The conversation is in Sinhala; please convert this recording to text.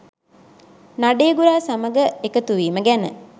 නඩේගුරා සමග එකතුවීම ගැන.